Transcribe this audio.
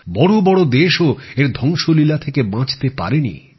বড় বড় দেশ ও এর ধ্বংসলীলা থেকে বাঁচতে পারেনি